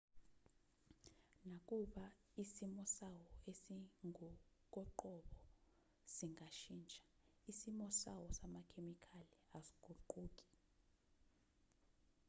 nakuba isimo sawo esingokoqobo singashintsha isimo sawo samakhemikhali asiguquki